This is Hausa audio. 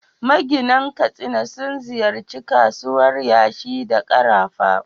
Maginan Katsina sun ziyarci kasuwar yashi da karafa.